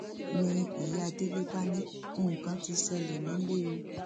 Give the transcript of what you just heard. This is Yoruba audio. ni ìyá délé bá ní nǹkan ti ṣẹlẹ nílẹ o